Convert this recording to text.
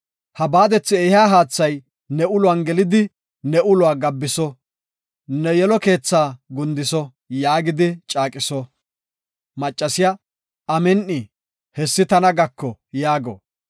Ha baadethi ehiya haathay ne uluwan gelidi ne uluwa gabbiso; ne yelo keethaa gundiso” yaagidi caaqiso. Maccasiya, “Amin7i, hessi tana gako” yaago.